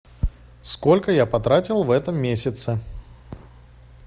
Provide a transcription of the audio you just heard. сколько я потратил в этом месяце